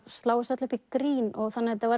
slá þessu öllu upp í grín þannig að þetta var